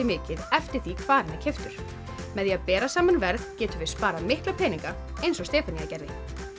mikið eftir því hvar hann er keyptur með því að bera saman verð getum við sparað mikla peninga eins og Stefanía gerði